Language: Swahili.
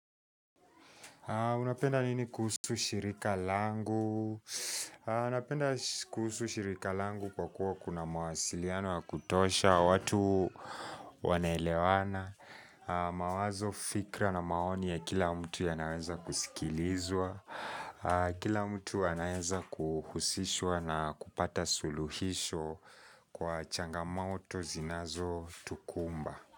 Unapenda nini kuhusu shirika langu? Anapenda kuhusu shirika langu kwa kuwa kuna mawasiliano ya kutosha, watu wanaelewana, mawazo fikra na maoni ya kila mtu yanaweza kusikilizwa, kila mtu anaweza kuhusishwa na kupata suluhisho kwa changamoto zinazotukumba.